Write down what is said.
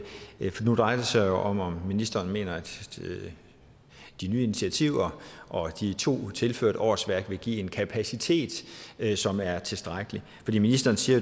sig om om ministeren mener at de nye initiativer og de to tilførte årsværk vil give en kapacitet som er tilstrækkelig ministeren siger